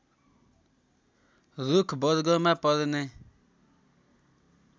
रूख वर्गमा पर्ने